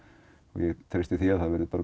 og ég treysti því að það verði